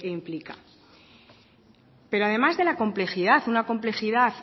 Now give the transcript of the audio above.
implica pero además de la complejidad una complejidad